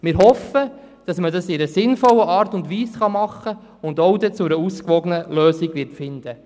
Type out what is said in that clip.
Wir hoffen, dass wir das in einer sinnvollen Art und Weise tun kann und dann auch zu einer ausgewogenen Lösung finden wird.